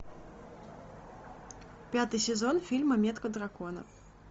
пятый сезон фильм метка дракона